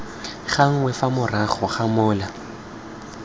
gangwe fa morago ga mola